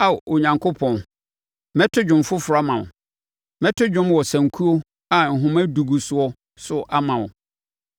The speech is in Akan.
Ao Onyankopɔn, mɛto dwom foforɔ ama wo; mɛto dwom wɔ sankuo a nhoma edu gu soɔ so ama wo,